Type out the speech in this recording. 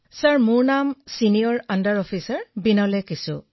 বিনোলে কিসৌঃ মোৰ নাম ছিনিয়ৰ আণ্ডাৰ অফিচাৰ বিনোলে কিসৌ